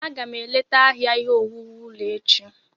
Aga m eleta ahịa ihe owuwu ulọ echi.